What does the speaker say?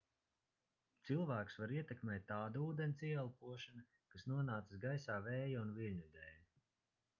cilvēkus var ietekmēt tāda ūdens ieelpošana kas nonācis gaisā vēja un viļņu dēl